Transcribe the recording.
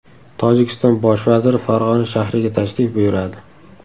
Tojikiston bosh vaziri Farg‘ona shahriga tashrif buyuradi.